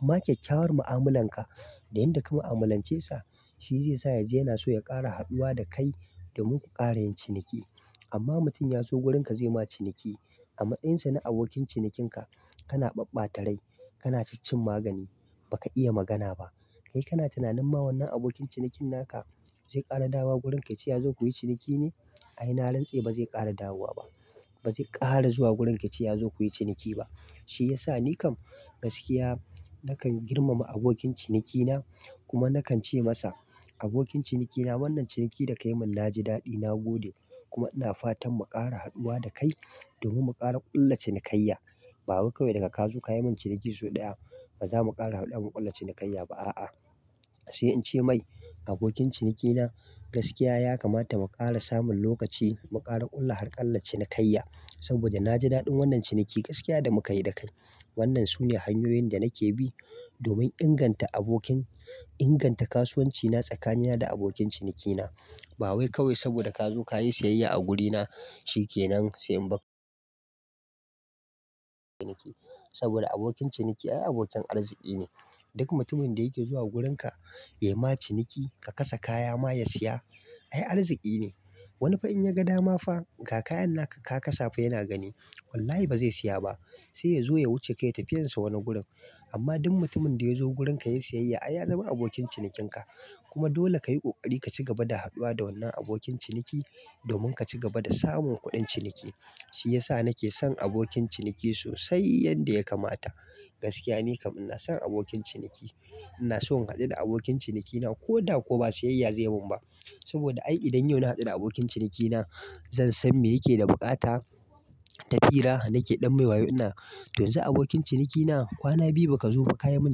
Amma kyakkyawar mu'amalan ka da yadda ka mu'amalance sa shi zai sa yaje yana so ya ƙara haduwa da kai domin ku ƙara yin ciniki. Amma mutum ya zo wurin ka zai ma ciniki amma ɗansa na abokin cinikin ka kana ɓabɓata rai. Kana cin cin magani ba ka iya magana ba. Kai kana tunanin ma wannan abokin cinikin naka zai ƙara dawowa wurin ka ce ya zo ku yi ciniki ne? Ai na rantsa ba zai ƙara dawowa ba, ba zai ƙara zuwa wurin ka ce ya zo ku yi ciniki ba. Shi yasa ni kam gaskiya nakan girmama abokin cinikina kuma nakan ce masa abokin cinikina wannan ciniki da ka yi min na ji daɗi na gode. Kuma ina fatan mu ƙara haduwa da kai domin mu ƙara ƙulla cinikayya. Ba wai kawai da ka ka zo kayi min ciniki sau ɗaya ba za mu ƙara haɗuwa mu ƙulla cinikayya ba a'a. Sai in ce mai abokin ciniki na gaskiya ya kamata mu ƙara samun lokaci mu ƙara ƙulla har ƙalla cinikayya. Saboda na ji daɗin wannan ciniki gaskiya da muka yi da kai. Wannan su ne hanyoyin da nake bi domin inganta abokin-- inganta kasuwanci na tsakanina da abokin cinikina. Bawai kawai sabida kazo kayi siyayya a gurina shikenan sai in bak saboda abokin ciniki ai abokin arziki ne. Duk mutumin da yake zuwa wurin ka yai ma ciniki ka kasa kaya ma ya siya. Ai arziki ne. Wani fa in ya ga dama fa ga kayan naka ka kasa fa yana gani. Wallahi ba zai siya ba. Sai ya zo ya wuce ka tafiyar sa wani gurin. Amma duk mutumin da ya zo wurin ka ya yi siyayya, ai ya zama abokin cinikin ka. Kuma dole ka yi ƙoƙari ka ci gaba da haduwa da wannan abokin ciniki domin ka ci gaba da samun kuɗin ciniki. Shi ya sa nake son abokin ciniki sosai yadda ya kamata. Gaskiya ni kam ina son abokin ciniki. Ina so in haɗu da abokin ciniki na ko da ko ba siyayya zai mun ba. Saboda idan yau na hadu da abokin ciniki na zan san me yake da bukata Tafira nake ɗan mai wayo ina. To yan zu abokin ciniki na kwana biyu ba ka zo ba ka yi min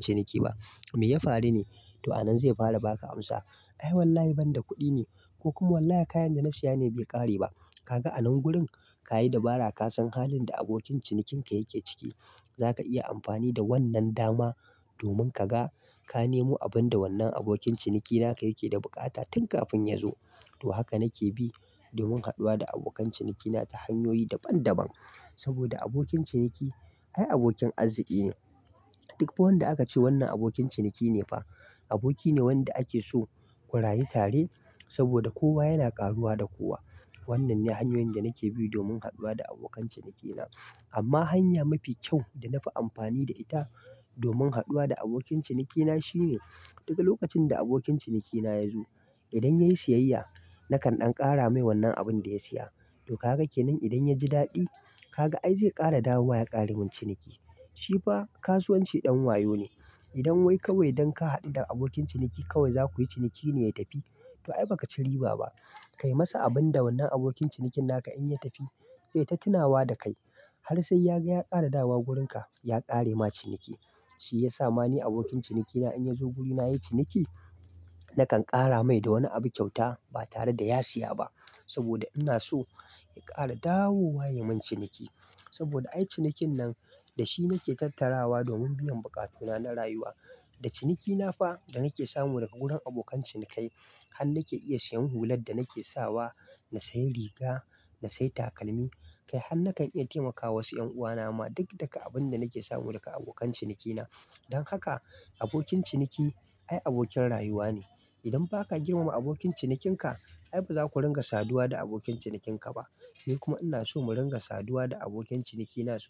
ciniki ba. Me ya faru ne? To anan zai fara ba ka amsa. Ai wallahi ban da kuɗi ne, ko kuma wallahi kayan da na siya ne bai ƙare ba. Kaga a nan gurin ka yi dabara ka san halin da abokin cinikin ka yake ciki. Za ka iya amfani da wannan dama domin ka ga ka nemo abin da wannan abokin ciniki naka yake da bukata tun kafin ya zo. To haka nake bi domin haduwa da abokan cinikina ta hanyoyi daban daban. Saboda abokin ciniki ai abokin arziki ne. Duk wanda aka ce wannan abokin ciniki ne fa aboki ne wanda ake so ku rayu tare saboda kowa yana ƙaruwa da kowa. Wannan ne hanyoyin da nake bi domin haduwa da abokan cinikina. Amma hanya mafi kyau da na fi amfani da ita domin haduwa da abokin ciniki na shine duk lokacin da abokin ciniki na ya zo. Idan ya yi siyayya nakan ɗan ƙara mai wannan abin da ya siya. Toh kaga kenan idan yaji dadi kaga ai zai kara dawowa ya karamin ciniki shi fa kasuwanci ɗan wayo ne. Idan wai kawai dan ka haɗu da abokin ciniki kawai za ku yi ciniki ne ya tafi. To ai ba ka ci riba ba. Kai masa abin da wannan abokin cinikin naka in ya tafi zai tattinawa da kai har sai ya ga ya ƙara dawowa wurin ka ya ƙare ma ciniki. Shi yasa mane abokin ciniki na in ya zo guri na yayi ciniki, nakan ƙara mai da wani abu kyauta ba tare da ya siya ba. Saboda ina so ya ƙara dawowa ya yi min ciniki. Saboda ai cinikin nan da shi nake tattarawa domin biyan bukatuna na rayuwa. Da ciniki na fa da nake samu daga wurin abokan cinikai han nake iya siyan hular da nake sawa, na sayi riga, na sayi takalmi. Kai han nakan iya taimakawa wasu 'yan uwana ma duk daga abin da nake samu daga abokan cinikina. Don haka abokin ciniki ai abokin rayuwa ne. Idan ba ka girmama abokin cinikin ka ai ba za ku ringa saduwa da abokin cinikin ka ba. Ni kuma inaso mudinga saduwa da abokin cinikinaso.